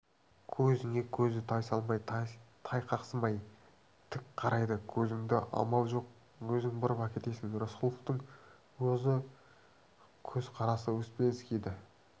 көзіңе көзі тайсалмай тайқақсымай тік қарайды көзіңді амал жоқ өзің бұрып әкетесің рысқұловтың осы көзқарасы успенскийді